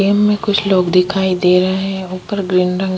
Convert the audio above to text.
game में कुछ लोग दिखाई दे रहा है ऊपर ग्रीन रंग--